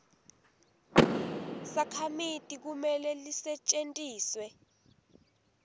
sakhamiti kumele lisetjentiswe